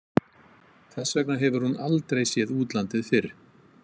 Þess vegna hefur hún aldrei séð útlandið fyrr.